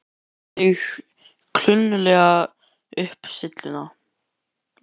Hún vegur sig klunnalega upp syllurnar.